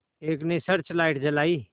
एक ने search light जलाई